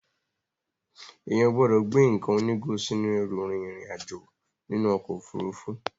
Èèyàn ò gbọ́dọ̀ gbé nǹkan onígò sínú ẹrù rin ìrìn àjò nínú ọkọ̀ Òfurufú.